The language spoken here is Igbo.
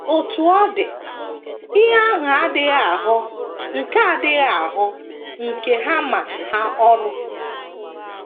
Otú ọ dị, ihe ahụ adịghị aghọ nke adịghị aghọ nke ha ma ha ọrụ.